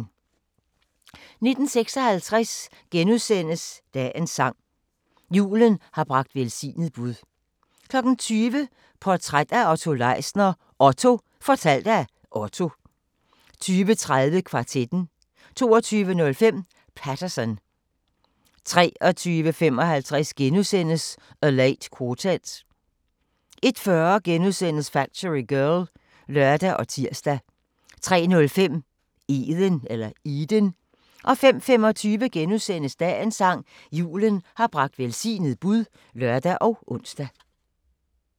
19:56: Dagens sang: Julen har bragt velsignet bud * 20:00: Portræt af Otto Leisner: OTTO - fortalt af Otto 20:30: Kvartetten 22:05: Paterson 23:55: A Late Quartet * 01:40: Factory Girl *(lør og tir) 03:05: Eden 05:25: Dagens sang: Julen har bragt velsignet bud *(lør og ons)